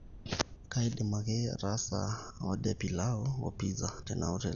kaidim ake ataasa oda e pilau woo pizaa tena hoteli